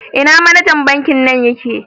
Ina manejan Banki nan ye ke?